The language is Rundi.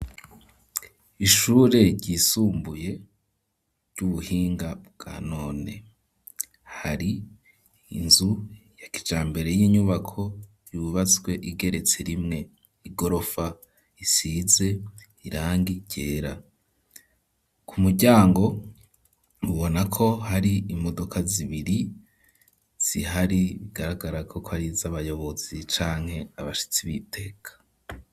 Ishure ryisumbuye ry'ubuhinga bwa none, hari inzu ya kijambere y'inyubako yubatswe igeretse rimwe, igorofa isize irangi ryera; ku muryango ubona ko hari imodoka zibiri zihari, bigaragara ko ari iz'abayobozi canke abashitsi b'iteka.